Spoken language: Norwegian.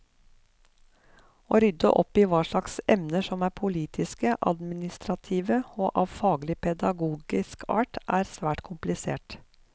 Å rydde opp i hva slags emner som er politiske, administrative og av faglig pedagogisk art, er svært komplisert.